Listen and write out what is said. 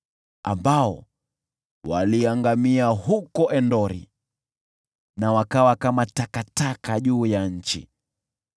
ambao waliangamia huko Endori na wakawa kama takataka juu ya nchi.